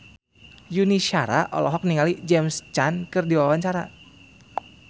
Yuni Shara olohok ningali James Caan keur diwawancara